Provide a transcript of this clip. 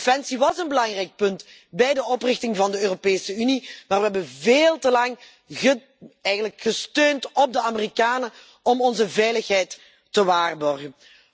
Defensie was een belangrijk punt bij de oprichting van de Europese Unie, maar we hebben veel te lang gesteund op de Amerikanen om onze veiligheid te waarborgen.